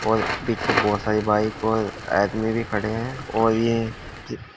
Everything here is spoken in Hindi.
और पीछे बहुत सारी बाइक और आदमी भी खड़े हैं और ये--